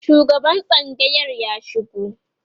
shugaban tsangayar ya shigo